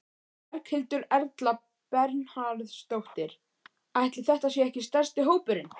Berghildur Erla Bernharðsdóttir: Ætli þetta sé ekki stærsti hópurinn?